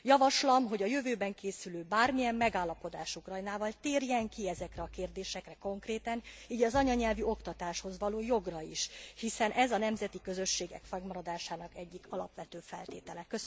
Javaslom, hogy a jövőben készülő bármilyen megállapodás Ukrajnával, térjen ki ezekre a kérdésekre konkrétan, így az anyanyelvi oktatáshoz való jogra is, hiszen ez a nemzeti közösségek fennmaradásának egyik alapvető feltétele.